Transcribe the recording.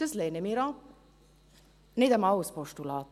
«Das lehnen wir ab, auch als Postulat.